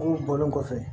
bɔlen kɔfɛ